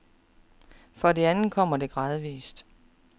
For det andet kommer det gradvis.